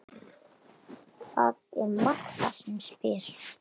Það er Marta sem spyr.